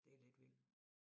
Det lidt vild